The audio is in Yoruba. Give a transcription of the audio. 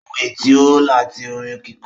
Ohun ẹ̀ tí ó láti orin kíkọ